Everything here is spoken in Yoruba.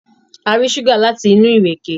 A rí ṣúgà láti inú ìrèké